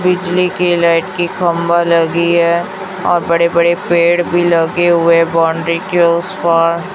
बिजली की लाइट की खंभा लगी है और बड़े बड़े पेड़ भी लगे हुए बाउंड्री के उस पार--